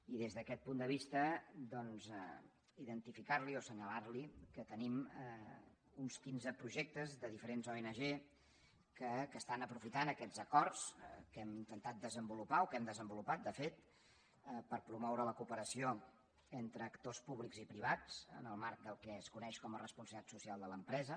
i des d’aquest punt de vista doncs identificarli o assenyalarli que tenim uns quinze projectes de diferents ong que aprofiten aquests acords que hem intentat desenvolupar o que hem desenvolupat de fet per promoure la cooperació entre actors públics i privats en el marc del que es coneix com a responsabilitat social de l’empresa